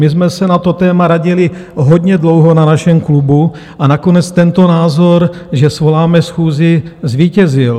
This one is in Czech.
My jsme se na to téma radili hodně dlouho na našem klubu a nakonec tento názor, že svoláme schůzi, zvítězil.